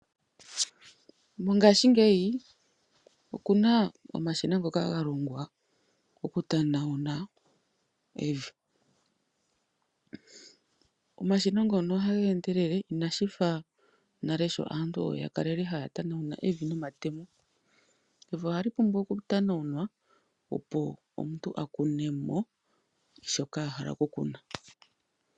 Mongashingeyi oku na omashina ngoka ga longwa oku tanawuna evi. Omashina ngono oha ga endelele ina shifa nale sho aantu ya kalele haya tanawuna evi nomatemo. Evi ohali pumbwa oku tanawunwa opo omuntu a kune mo shoka a hala oku kuna.